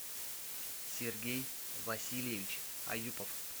сергей васильевич аюпов